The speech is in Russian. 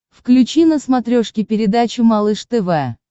включи на смотрешке передачу малыш тв